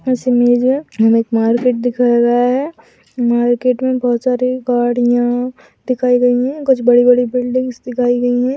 इस इमेज में हमे एक मार्केट दिखाया गया है मार्केट में बहोत सारी गाड़िया दिखाई गयी है कुछ बड़ी बड़ी बिल्डिंग्स दिखाई गई है।